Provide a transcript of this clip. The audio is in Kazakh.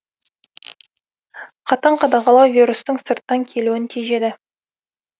қатаң қадағалау вирустың сырттан келуін тежеді